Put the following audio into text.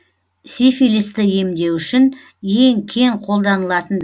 сифилисті емдеу үшін ең кең қолданылатын